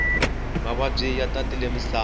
mavabyi ya tatile musava